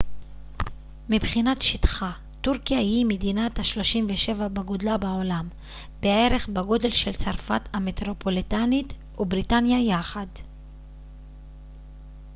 מבחינת שטחה טורקיה היא מדינה ה-37 בגודלה בעולם בערך בגודל של צרפת המטרופוליטנית ובריטניה יחד